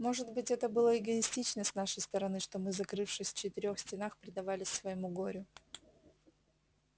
может быть это было эгоистично с нашей стороны что мы закрывшись в четырёх стенах предавались своему горю